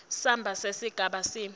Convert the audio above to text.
samba sesigaba c